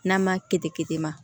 N'a ma kitema